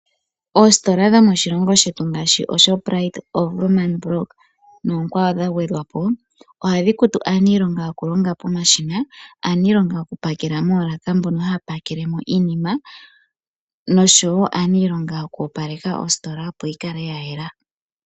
Oositola dho moshilongo shetu ngaashi oShoprite, oWoerman block noonkwawo dha gwedhwapo ohadhi kutu aaniilonga yoku longa pomashina, aaniilonga yoku pakela moolaka mbono haya pakelemo iinima noshowo aaniilonga yoku opaleka ositola opo yikale ya yela.